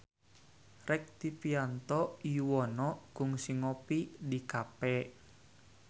Rektivianto Yoewono kungsi ngopi di cafe